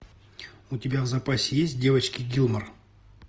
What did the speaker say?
у тебя в запасе есть девочки гилмор